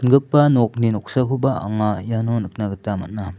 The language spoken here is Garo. nokni noksakoba anga iano nikna gita man·a.